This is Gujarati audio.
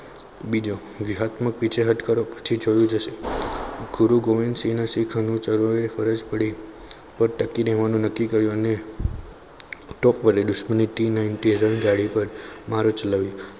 બીજો વિહતમક વિષય હતો પછી જોયું જશે ગુરુ ગોવિંદસિંહના શીખોને અનુંસરોએ ફરજ પડી તેઓએ ટકી રહેવાનું નક્કી કર્યું અને ટોપ વાળી દુશ્મની tee nightly ગાડી પર મારો ચલાવ્યો.